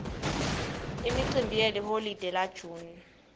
imicimbi yeliholide la june